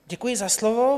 Děkuji za slovo.